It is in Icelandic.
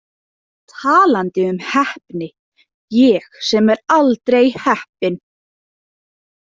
Talandi um heppni, ég sem er aldrei heppinn.